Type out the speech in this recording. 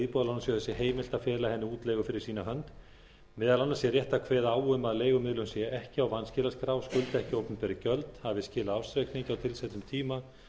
íbúðalánasjóði sé heimilt að fela henni útleigu fyrir sína hönd meðal annars sé rétt að kveða á um að leigumiðlun sé ekki á vanskilaskrá skuldi ekki opinber gjöld hafi skilað ársreikningi á tilsettum tíma